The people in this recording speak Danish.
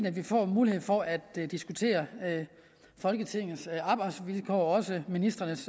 at vi får mulighed for at diskutere folketingets arbejdsvilkår og også ministrenes